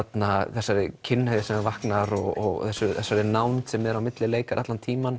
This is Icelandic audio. þessari kynhneigð sem vaknar og þessari nánd sem er á milli leikara allan tímann